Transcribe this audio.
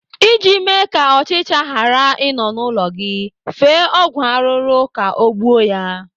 Iji mee ka ọchịcha ghara ị nọ n'ụlọ gị, fee ọgwụ arụrụ ka ọ gbuo ya.